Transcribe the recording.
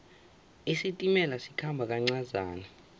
isitimela sikhamba kancazana